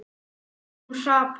Hún hrapar.